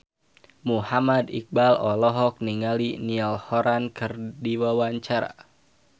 Muhammad Iqbal olohok ningali Niall Horran keur diwawancara